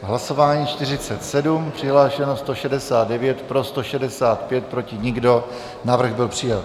Hlasování 47, přihlášeno 169, pro 165, proti nikdo, návrh byl přijat.